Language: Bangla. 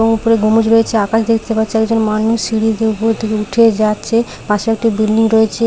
উ উপরে গম্বুজ রয়েছে আকাশ দেখতে পাচ্ছি একজন মানুষ সিঁড়ি দিয়ে উপরের দিকে উঠে যাচ্ছে পাশে একটি বিল্ডিং রয়েছে।